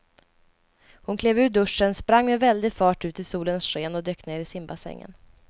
Hon klev ur duschen, sprang med väldig fart ut i solens sken och dök ner i simbassängen.